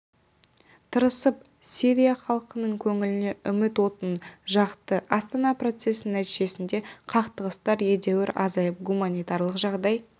тырысып сирия іалқының көңіліне үміт отын жақты астана процесінің нәтижесінде қақтығыстар едәуір азайып гуманитарлық жағдай